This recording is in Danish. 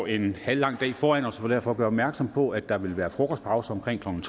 en halv lang dag foran os og vil derfor gøre opmærksom på at der vil være frokostpause omkring klokken